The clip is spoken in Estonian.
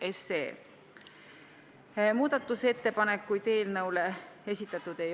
Esimese ja teise lugemise vahel eelnõu kohta muudatusettepanekuid ei esitatud.